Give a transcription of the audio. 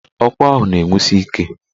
Ọkụ ahụ na-enwusi ike.